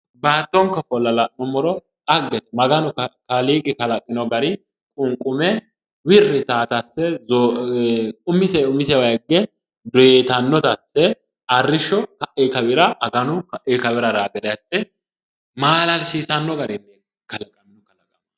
Baattonke ofolla la'nummoro dhaggete maganu kaaliiqi kalaqino gari qunqume wirri yitaata asse umisee umisewa higge doyitannota asse arrishsho ka'ii kawira aganu ka'ii kawira haraa gede maalalsiisanno garinni kalaqino